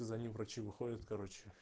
за ним врачи выходят короче